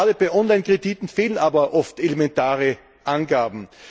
Gerade bei Online Krediten fehlen aber oft elementare Angaben.